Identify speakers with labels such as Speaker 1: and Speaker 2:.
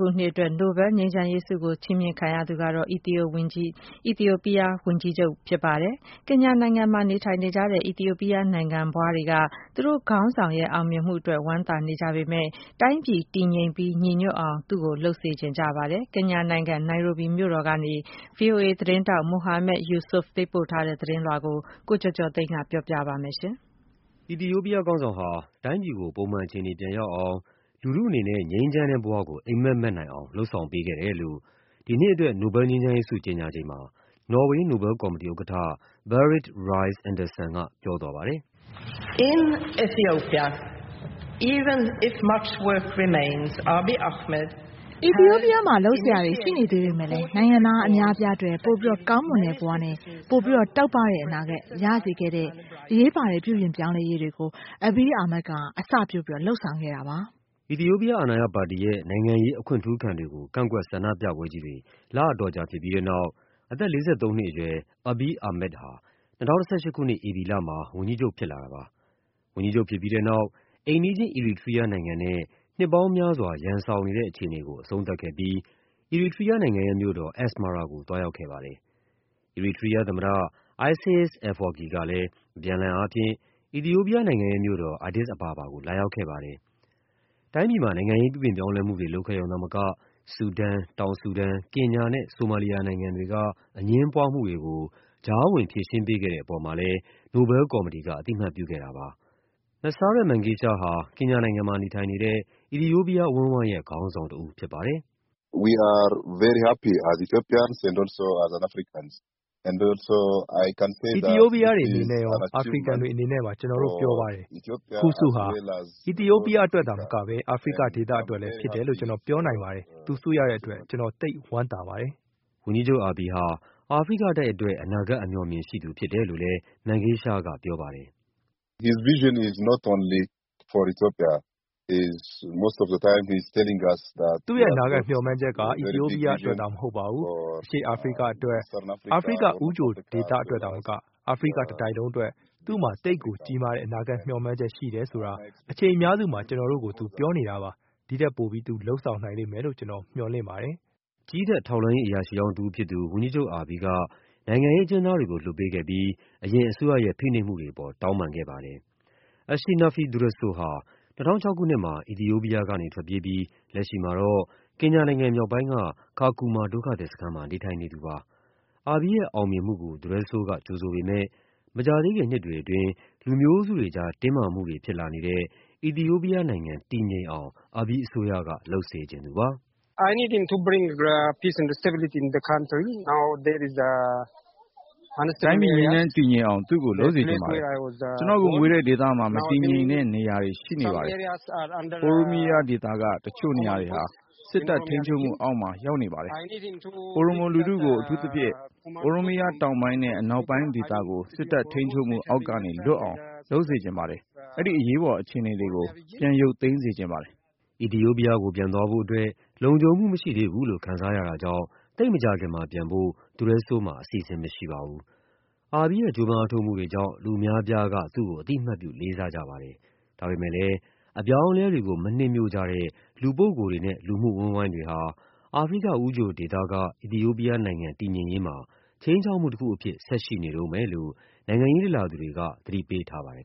Speaker 1: ခုနှစ်အတွက် နိုဘဲလ်ငြိမ်းချမ်းရေးဆုကို ချီးမြှင့်ခံရသူကတော့ အီသီယိုးပီးယားဝန်ကြီးချုပ် Abiy Ahmed ပါ။ ကင်ညာနိုင်ငံမှာ နေထိုင်နေကြတဲ့ အီသီယိုးပီယားနိုင်ငံဖွားတွေက သူတို့ခေါင်းဆောင်ရဲ့ အောင်မြင်မှုအတွက် ဝမ်းသာနေကြ ပေမယ့် တိုင်းပြည် တည်ငြိမ်ပြီး ညီညွတ်အောင် သူ့ကိုလုပ်စေချင်ကြပါတယ်။ ကင်ညာနိုင်ငံ၊ နိုင်ရိုဘီမြို့တော်ကနေ ဗွီအိုအေ သတင်းထောက် Mohammed Yusuf ပေးပို့ထားတဲ့ သတင်းလွှာကို ကိုကျော်ကျော်သိန်းက ပြောပြပါမယ်။ အီသီယိုးပီးယားခေါင်းဆောင်ဟာ တိုင်းပြည်ကို ပုံမှန်အခြေအနေ ပြန်ရောက်အောင်၊ လူထုအနေနဲ့ ငြိမ်းချမ်းတဲ့ဘဝကို အိပ်မက်မက်နိုင်အောင် လုပ်ဆောင်ပေးခဲ့တယ်လို့ ဒီနှစ်အတွက် နိုဘဲလ်ငြိမ်းချမ်းရေးဆု ကြေညာချိန်မှာ နော်ဝေး နိုဘဲလ် ကော်မတီဥက္ကဋ္ဌ Berit Reiss-Andersen က ပြောသွားပါတယ်။ “အီသီယိုးပီးယားမှာ လုပ်စရာတွေ ရှိနေသေးပေမယ့် နိုင်ငံသားအများအပြားအတွက် ပိုပြီးကောင်းမွန်တဲ့ဘဝနဲ့ ပိုပြီး တောက်ပတဲ့အနာဂတ် ရစေခဲ့တဲ့ အရေးပါတဲ့ ပြုပြင်ပြောင်းလဲရေးတွေကို Abiy Ahmed က အစပျိုး လုပ်ဆောင်ခဲ့ပါတယ်။” အီသီယိုးပီးယား အာဏာရပါတီရဲ့ နိုင်ငံရေး အခွင့်ထူးခံတွေကို ကန့်ကွက်ဆန္ဒပြပွဲကြီးတွေ လအတော်ကြာဖြစ်ပြီးတဲ့နောက် အသက် ၄၃ နှစ်အရွယ် Abiy Ahmed ဟာ ၂၀၁၈ ခုနှစ် ဧပြီလမှာ ဝန်ကြီးချုပ်ဖြစ်လာတာပါ။ ဝန်ကြီးချုပ်ဖြစ်ပြီးတဲ့နောက် အိမ်နီးချင်း အီရီထရီးယားနိုင်ငံနဲ့ နှစ်ပေါင်းများစွာ ရန်စောင်နေတဲ့အခြေအနေကို အဆုံးသတ်ခဲ့ပြီး အီရီထရီးယားနိုင်ငံရဲ့မြို့တော် Asmara ကို သွားရောက်ခဲ့ပါတယ်။ အီရီထရီးယားသမ္မတ Isais Afwerki ကလည်း အပြန်အလှန် အားဖြင့် အီသီယိုးပီယားနိုင်ငံရဲ့မြို့တော် Addis Ababa ကို လာရောက်ခဲ့ပါတယ်။ တိုင်းပြည်မှာ နိုင်ငံရေး ပြုပြင်ပြောင်းလဲမှုတွေ လုပ်ခဲ့ရုံသာမက ဆူဒန်၊ တောင်ဆူဒန်၊ ကင်ညာနဲ့ ဆိုမာလီယာနိုင်ငံတွေက အငြင်း ပွားမှုတွေကို ကြားဝင်ဖြေရှင်းပေးခဲ့တဲ့အပေါ်မှာလည်း နိုဘဲလ်ကော်မတီက အသိအမှတ်ပြုခဲ့တာပါ။ Meseret Mengesha ဟာ ကင်ညာနိုင်ငံမှာနေထိုင်နေတဲ့ အီသီယိုးပီယားအဝန်းအဝိုင်းရဲ့ ခေါင်းဆောင်တဦးဖြစ်ပါတယ်။ “အီသီယိုးပီးယားတွေအနေနဲ့ရော အာဖရိကန်တွေအနေနဲ့ပါ ကျနော်တို့ ပျော်ပါတယ်။ ဒီဆုဟာ အီသီယိုးပီးယား အတွက်သာမက အာဖရိကဒေသအတွက်လည်းဖြစ်တယ်လို့ ကျနော်ပြောနိုင်ပါတယ်။ သူဆုရတဲ့အတွက် ကျနော် သိပ်ဝမ်းသာပါ တယ်။” ဝန်ကြီးချုပ် Abiy ဟာ အာဖရိကတိုက်အတွက် အနာဂတ်အမြော်အမြင် ရှိသူဖြစ်တယ်လို့လည်း Mengesha ကပြောပါတယ်။ “သူ့ရဲ့ အနာဂတ်မျှော်မှန်းချက်က အီသီယိုးပီးယားအတွက်သာ မဟုတ်ပါဘူး။ အရှေ့အာဖရိကအတွက်၊ အာဖရိက ဦးချိုဒေသအတွက်သာမက အာဖရိကတတိုက်လုံးအတွက် သူ့မှာ သိပ်ကိုကြီးမားတဲ့ အနာဂတ်မျှော်မှန်းချက် ရှိတယ်ဆိုတာ အချိန်အများစုမှာ ကျနော်တို့ကို သူပြောနေတာပါ။ ဒီ့ထက်ပိုပြီး သူလုပ်ဆောင်လိမ့်မယ်လို့ ကျနော်မျှော်လင့်ပါတယ်။” ကြည်းတပ် ထောက်လှမ်းရေး အရာရှိဟောင်းတဦးဖြစ်သူ ဝန်ကြီးချုပ် Abiy က နိုင်ငံရေးအကျဉ်းသားတွေကို လွှတ်ပေးခဲ့ပြီး အရင် အစိုးရရဲ့ ဖိနှိပ်မှုတွေအပေါ် တောင်းပန်ခဲ့ပါတယ်။ Ashenafi Dureso ဟာ ၂၀၀၆ ခုနှစ်မှာ အီသီယိုးပီယားကနေ ထွက်ပြေးပြီး လက်ရှိမှာတော့ ကင်ညာနိုင်ငံမြောက်ပိုင်းက Kakuma ဒုက္ခသည်စခန်းမှာ နေထိုင်နေသူပါ။ Abiy ရဲ့အောင်မြင်မှုကို Dureso က ကြိုဆိုပေမယ့် မကြာသေးခင်နှစ်တွေအတွင်း လူမျိုးစုတွေကြား တင်းမာမှုတွေဖြစ်လာနေတဲ့ အီသီယိုးပီယားနိုင်ငံ တည်ငြိမ်အောင် Abiy အစိုးရက လုပ်စေချင်သူပါ။ “တိုင်းပြည် ငြိမ်းချမ်းတည်ငြိမ်အောင် သူ့ကိုလုပ်စေချင်ပါတယ်။ ကျနော့်ကိုမွေးတဲ့ဒေသမှာ မတည်ငြိမ်တဲ့နေရာတွေ ရှိနေပါတယ်။ Oromia ဒေသက တချို့နေရာတွေဟာ စစ်တပ်ထိန်းချုပ်မှုအောက်မှာ ရောက်နေပါတယ်။ Oromo လူထုကို၊ အထူးသဖြင့် Oromia တောင်ပိုင်းနဲ့ အနောက်ပိုင်းဒေသတွေကို စစ်တပ်ထိန်းချုပ်မှုအောက်ကနေလွတ်အောင် လုပ်စေချင်ပါ တယ်။ အဲဒီအရေးပေါ်အခြေအနေတွေကို ပြန်ရုပ်သိမ်းစေချင်ပါတယ်။” အီသီယိုးပီယားကို ပြန်သွားဖို့အတွက် လုံခြုံမှုမရှိသေးဘူးလို့ ခံစားရတာကြောင့် သိပ်မကြာခင်မှာပြန်ဖို့ Dureso မှာ အစီအစဉ် မရှိပါဘူး။ Abiy ရဲ့ ကြိုးပမ်းအားထုတ်မှုတွေကြောင့် လူအများအပြားက သူ့ကို အသိအမှတ်ပြု လေးစားကြပါတယ်။ ဒါပေမယ့်လည်း အပြောင်းအလဲတွေကို မနှစ်မြို့ကြတဲ့ လူပုဂ္ဂိုလ်တွေနဲ့ လူမှုအဝန်းအဝိုင်းတွေဟာ အာဖရိကဦးချိုဒေသက အီသီယိုးပီယားနိုင်ငံ တည်ငြိမ်ရေးမှာ ခြိမ်းခြောက်မှုတခုအဖြစ် ဆက်ရှိနေတုန်းပဲလို့ နိုင်ငံရေးလေ့လာသူတွေက သတိပေးထားပါတယ်